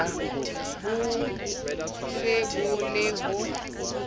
bo se bo le ho